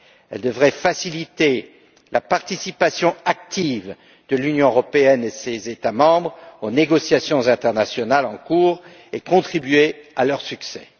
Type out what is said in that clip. Elle devrait faciliter la participation active de l'Union européenne et de ses États membres aux négociations internationales en cours et contribuer à leur succès.